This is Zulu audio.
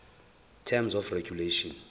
terms of regulation